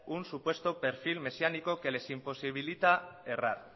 un supuesto perfil mesiánico que les imposibilita errar